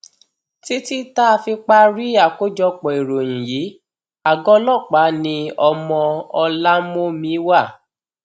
títí tá a fi parí àkójọpọ ìròyìn yìí àgọ ọlọpàá ni ọmọ ọlámómi wà